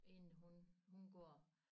Inden hun hun går